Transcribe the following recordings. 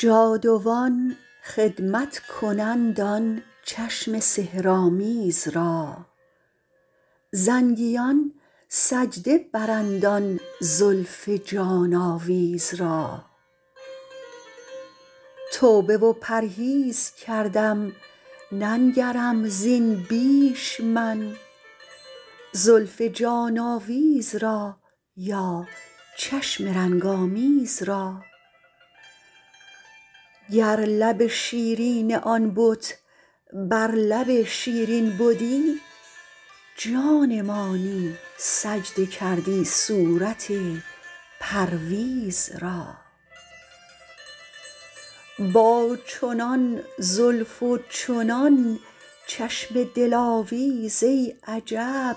جادوان خدمت کنند آن چشم سحر آمیز را زنگیان سجده برند آن زلف جان آویز را توبه و پرهیز کردم ننگرم زین بیش من زلف جان آویز را یا چشم رنگ آمیز را گر لب شیرین آن بت بر لب شیرین بدی جان مانی سجده کردی صورت پرویز را با چنان زلف و چنان چشم دلاویز ای عجب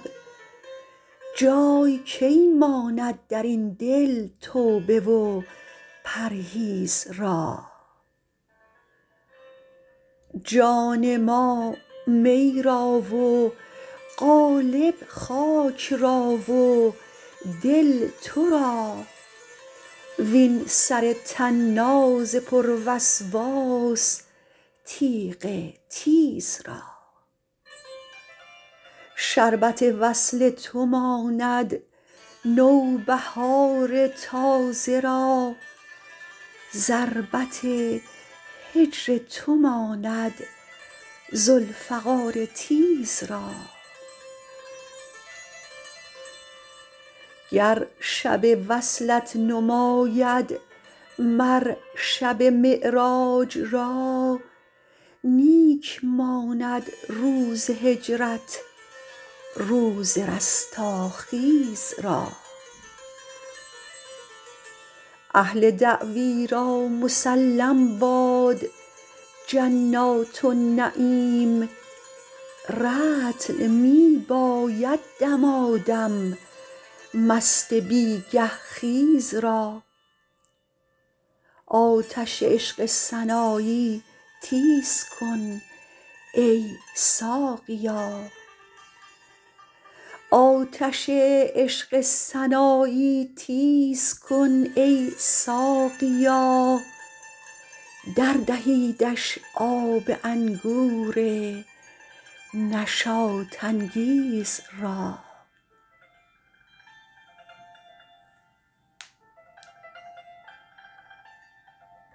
جای کی ماند درین دل توبه و پرهیز را جان ما می را و قالب خاک را و دل ترا وین سر طناز پر وسواس تیغ تیز را شربت وصل تو ماند نوبهار تازه را ضربت هجر تو ماند ذوالفقار تیز را گر شب وصلت نماید مر شب معراج را نیک ماند روز هجرت روز رستاخیز را اهل دعوی را مسلم باد جنات النعیم رطل می باید دمادم مست بیگه خیز را آتش عشق سنایی تیز کن ای ساقیا در دهیدش آب انگور نشاط انگیز را